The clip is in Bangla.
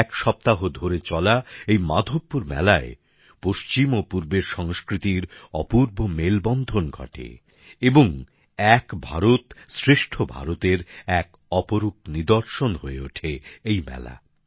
এক সপ্তাহ ধরে চলা এই মাধবপুর মেলায় পশ্চিম ও পূর্বের সংস্কৃতির অপূর্ব মেলবন্ধন ঘটে এবং এক ভারত শ্রেষ্ঠ ভারতের এক অপরুপ নিদর্শন হয়ে ওঠে এই মেলা